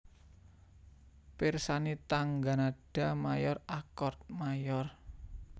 Pirsani tangga nada mayor akord mayor